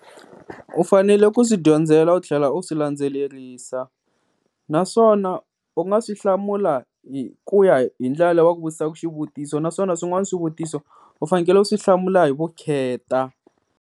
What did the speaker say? U fanele ku swi dyondzela u tlhela u swi landzelerisa, naswona u nga swi hlamula hi ku ya hi ndlela leyi va ku vutisaka xivutiso, naswona swin'wana swivutiso u fanekele u swi hlamula hi vukheta.